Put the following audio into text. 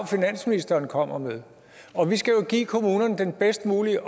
finansministeren kommer med og vi skal give kommunerne den bedst mulige